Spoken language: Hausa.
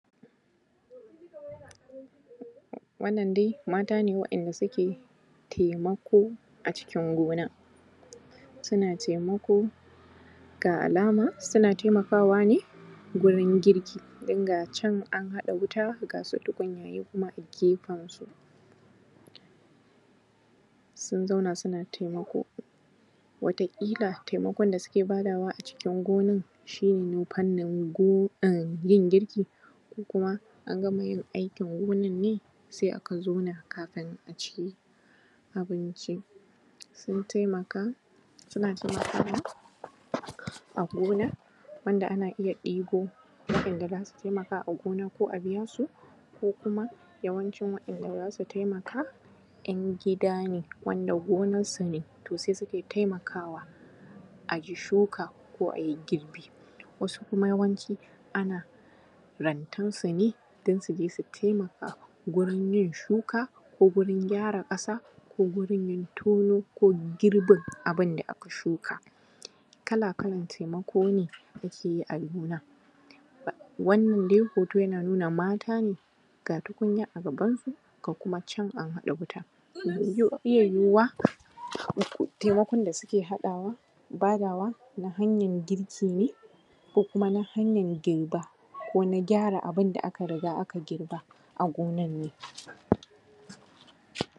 Wannan dai mata ne waɗanda suke taimako a ciki gonan, suna taimako ga alama suna taimako ne gurin girki ga can an haɗa wuta, ga su tukunyaye kuma a gefen su sun zauna, suna taimako. Wata ƙila taimakon da suke badawa a ciki gonan shi ne na fannin gonan yin girki ko kuma an gama yin aikin gonan ne, sai aka zauna kafin a ci abinci sun taimaka, suna taimakawa a gona, wanda ana iya ɗibo waɗanda za su taimaka a gona ko a biyasu ko kuma, yawanchin wa’ɗan da za su taimaka, 'yan gidane wanda gonansu ne to su taimaka, a yi shuka, ko a yi girbi. Wasu kuma yawanci ana rantansu ne, dan su taimaka gurin yin shuka, ko gurin gyara ƙasa, ko gurin tono, ko girbin abun da aka shuka. Kala-kalan taimako ne ake yi a gona, wannan dai hoto yana nuna matane ga tukunya a gabansu, ga kuma can an haɗa wuta. Ze iya yuyuwa taimakon da suke haɗawa da badawa na hanyan girki, ko kuma na hanyan girba, ko na gyara abun da aka girba a gonan ne.